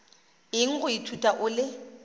eng go ithuta o le